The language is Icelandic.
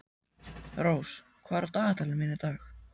Rós, hvað er á dagatalinu mínu í dag?